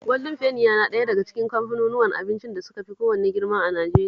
Gwaldin Feni yana ɗaya daga cikin kamfanunuwan abincin da suka fi kowanne girma a Najeriya